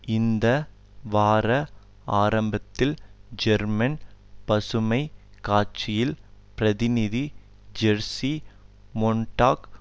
இந்த வார ஆரம்பத்தில் ஜெர்மன் பசுமை கட்சியில் பிரதிநிதி ஜேர்சி மொன்டாக்